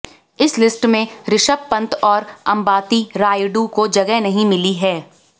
इस लिस्ट में ऋषभ पंत और अंबाती रायडू को जगह नहीं मिली है